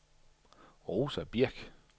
Rosa Birk